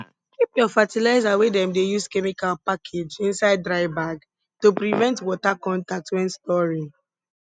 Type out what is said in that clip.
keep your fertilizer wey dem dey use chemical package inside dry bag to prevent water contact when storing